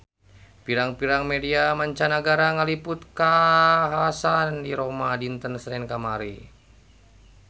Pirang-pirang media mancanagara ngaliput kakhasan di Roma dinten Senen kamari